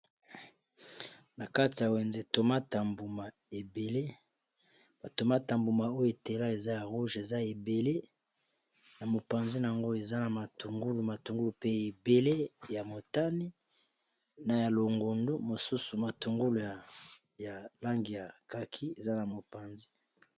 na kati ya wenze tomata mbuma ebele batomata mbuma oyo etela eza ya rouge eza ebele na mopanzi yango eza na maungulmatungulu pe ebele ya motani na ya longondo mosusu matungulu ya langi ya kaki eza na mopanzi